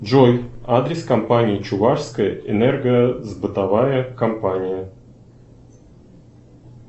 джой адрес компании чувашская энергосбытовая компания